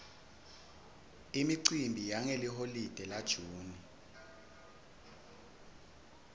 imicimbi yangeliholide la june